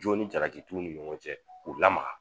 Jɔn ni jaratiw ni ɲɔgɔn cɛ k'u lamaga